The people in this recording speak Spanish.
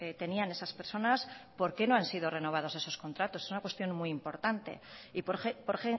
tenían esas personas por qué no han sido renovados esos contratos es una cuestión muy importante y por